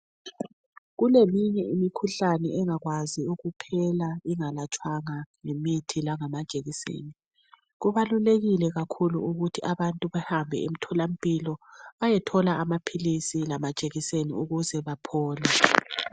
Kuleminye imikhuhlane engakwazi ukuphela ingalatshwanga ngemithi langamamajekiseni. Kubalulekile kakhulu ukuthi abantu behambe emtholampilo bayethola amaphilisi lamajekiseni ukuze baphole.